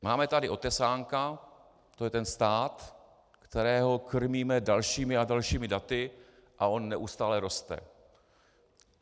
Máme tady Otesánka, to je ten stát, kterého krmíme dalšími a dalšími daty, a on neustále roste.